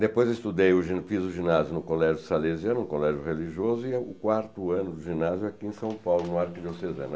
Depois estudei eu fiz o ginásio no Colégio Salesiano, um colégio religioso, e o quarto ano do ginásio aqui em São Paulo, no Arquidiocesano